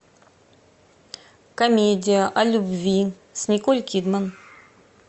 комедия о любви с николь кидман